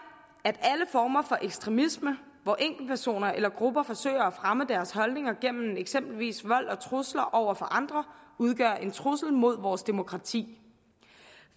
at alle former for ekstremisme hvor enkeltpersoner eller grupper forsøger at fremme deres holdninger gennem eksempelvis vold og trusler over for andre udgør en trussel mod vores demokrati